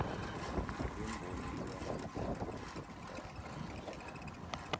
lwemboni luyahambisana nokuhlaziya